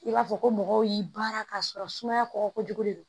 I b'a fɔ ko mɔgɔw y'i baara ka sɔrɔ sumaya kɔgɔ kojugu de do